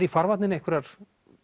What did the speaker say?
í farvatninu einhverjar